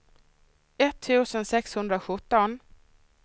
etttusen sexhundrasjutton